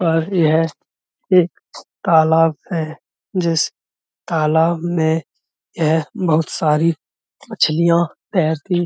पर यह एक तालाब है जिस तालाब में यह बहुत सारी मछलियाँ तैरती --